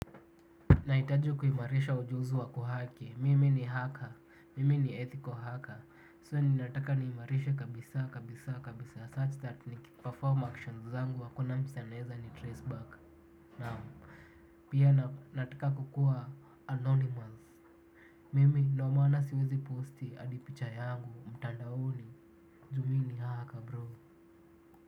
Nahitaji kuimarisha ujuzi wa kuhaki, mimi ni hacker, mimi ni ethical hacker So ninataka niimarishe kabisa kabisa kabisa such that niki perform actions zangu hakuna msee anaweza ni traceback. Pia nataka kukuwa anonymous, ndiyo maana siwezi posti hadi picha yangu mtandaoni, juu mimi ni haka bro.